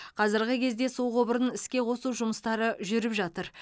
қазіргі кезде су құбырын іске қосу жұмыстары жүріп жатыр